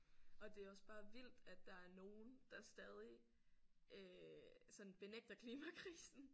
Og det er også bare vildt at der er nogen der stadig øh sådan benægter klimakrisen